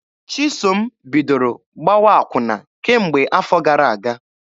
Chisom bidoro gbawa akwụna kemgbe afọ gara aga.